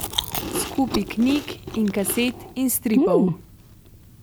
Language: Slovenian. S kupi knjig in kaset in stripov.